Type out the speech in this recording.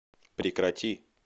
прекрати